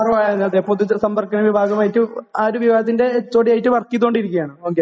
പ R O ആയിരുന്നു പൊതു സമ്പർക്ക വിഭാഗമായിട്ട് ആ ഒരു വിഭാഗത്തിന്റെ എച്ച് ഒ ഡി ആയിട്ട് വർക്ക് ചേതോണ്ടിരിക്കുകയാണ് ഓകെ